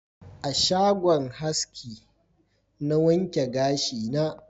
A shagon haski na wanke gashi na